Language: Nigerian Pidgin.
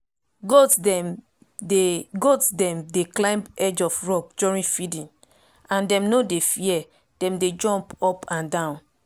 goat dem dey goat dem dey climb edge of rock during feeding and dem nor dey fear dem dey jump up and down